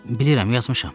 Bilirəm, yazmışam.